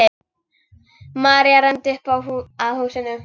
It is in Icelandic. María renndi upp að húsinu.